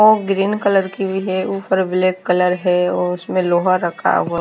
ओ green colour की भी है ऊपर ब्लैक कलर है और उसमें लोहा रखा हुआ --